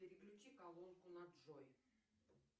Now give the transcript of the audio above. переключи колонку на джой